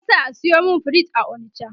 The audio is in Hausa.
zan sa a sayo min fridge a onicha